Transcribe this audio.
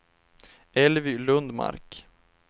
Elvy Lundmark